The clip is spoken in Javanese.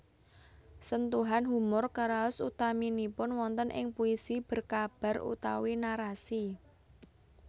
Sentuhan humor karaos utaminipun wonten ing puisi berkabar utawi narasi